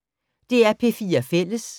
DR P4 Fælles